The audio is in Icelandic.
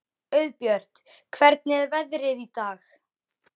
Auðbjört, hvernig er veðrið í dag?